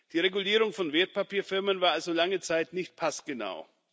Die Regulierung von Wertpapierfirmen war also lange Zeit nicht passgenau.